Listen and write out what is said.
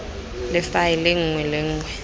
le faele nngwe le nngwe